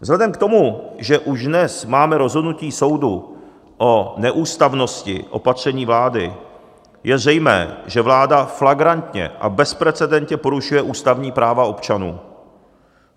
Vzhledem k tomu, že už dnes máme rozhodnutí soudu o neústavnosti opatření vlády, je zřejmé, že vláda flagrantně a bezprecedentně porušuje ústavní práva občanů.